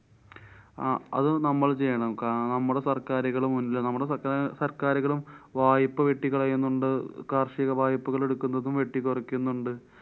അഹ് അത് നമ്മള്‍ ചെയ്യണം. കാരണം നമ്മളുടെ സര്‍ക്കാരുകള് മുന്നിലാ~ നമ്മുടെ സര്‍ക്കാര്~ സര്‍ക്കാരുകളും വായ്പ്പ വെട്ടികളയുന്നുണ്ട്കാര്‍ഷിക വായ്പ്പകള്‍ എടുക്കുന്നതും വെട്ടിക്കുറക്കുന്നുണ്ട്.